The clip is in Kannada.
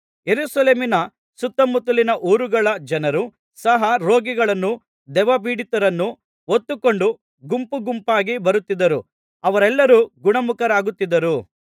ಯೆರೂಸಲೇಮಿನ ಸುತ್ತಮುತ್ತಲಿನ ಊರುಗಳ ಜನರು ಸಹ ರೋಗಿಗಳನ್ನೂ ದೆವ್ವ ಪೀಡಿತರನ್ನು ಹೊತ್ತುಕೊಂಡು ಗುಂಪುಗುಂಪಾಗಿ ಬರುತ್ತಿದ್ದರು ಅವರೆಲ್ಲರೂ ಗುಣಮುಖರಾಗುತ್ತಿದ್ದರು